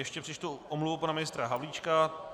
Ještě přečtu omluvu pana ministra Havlíčka.